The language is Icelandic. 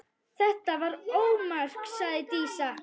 Þetta var ómark, sagði Dísa.